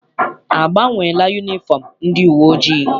A gbanweela yunifọm ndị uwe ojii?